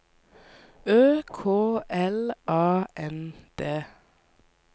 Ø K L A N D